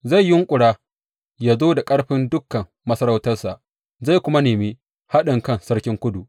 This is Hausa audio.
Zai yunƙura yă zo da ƙarfin dukan masarautarsa zai kuma nemi haɗinkan sarkin Kudu.